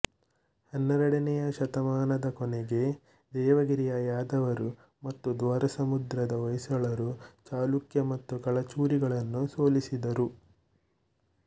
ಹನ್ನೆರಡನೆಯ ಶತಮಾನದ ಕೊನೆಗೆ ದೇವಗಿರಿಯ ಯಾದವರು ಮತ್ತು ದ್ವಾರಸಮುದ್ರದ ಹೊಯ್ಸಳರು ಚಾಲುಕ್ಯ ಮತ್ತು ಕಳಚೂರಿಗಳನ್ನು ಸೋಲಿಸಿದರು